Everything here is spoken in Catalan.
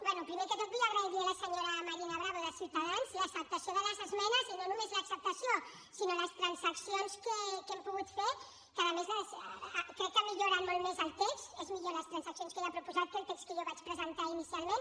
bé primer de tot vull agrair li a la senyora marina bravo de ciutadans l’acceptació de les esmenes i no només l’acceptació sinó les transaccions que hem pogut fer que a més crec que milloren molt més el text són millors les transaccions que ella ha proposat que el text que jo vaig presentar inicialment